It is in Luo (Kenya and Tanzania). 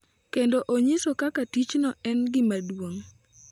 Kendo onyiso kaka tichno en gima duong’.